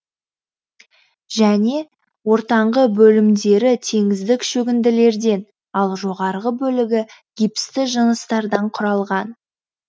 және ортаңғы бөлімдері теңіздік шөгінділерден ал жоғарғы бөлігі гипсті жыныстардан құралған